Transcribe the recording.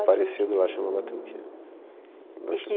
parecido lá chama batuque.